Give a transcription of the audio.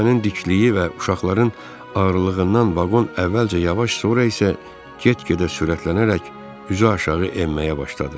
Təpənin dikliyi və uşaqların ağırlığından vaqon əvvəlcə yavaş, sonra isə get-gedə sürətlənərək üzüaşağı enməyə başladı.